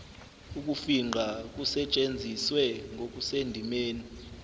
ukufingqa kusetshenziswe ngokusendimeni